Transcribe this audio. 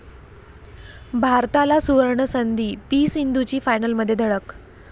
भारताला 'सूवर्ण'संधी, पी.सिंधूची फायनलमध्ये धडक